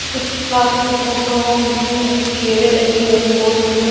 किसी कार की फोटो है जिसमें की चेयरे लगी हुई है बहुत जगह--